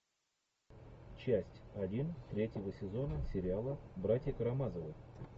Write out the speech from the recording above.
часть один третьего сезона сериала братья карамазовы